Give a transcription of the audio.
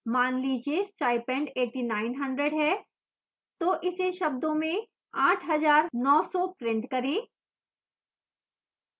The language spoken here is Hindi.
मान लीजिए stipend 8900 है तो इसे शब्दों में 8 हजार 9 सौ प्रिंट करें